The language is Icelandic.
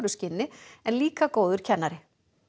skinni en líka góður kennari